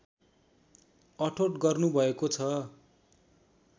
अठोट गर्नुभएको छ